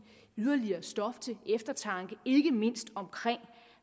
yderligere stof til eftertanke ikke mindst om